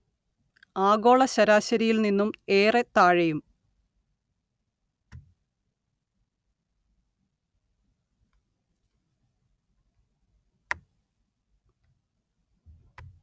ആഗോള ശരാശരിയിൽ നിന്നും ഏറെ താഴെയും